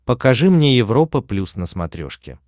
покажи мне европа плюс на смотрешке